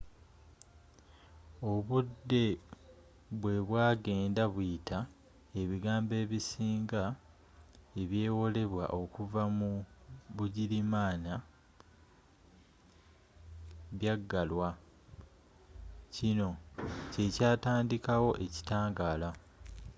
obudde bwebwagenda buyita ebigambo ebisinga ebyewolebwa okuva mu bugirimaana byaggalwa kino kyekyatandikawo ekitangaala